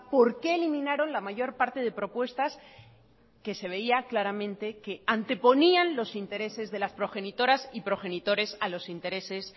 por qué eliminaron la mayor parte de propuestas que se veía claramente que anteponían los intereses de las progenitoras y progenitores a los intereses